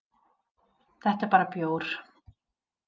Þetta er bara bjór.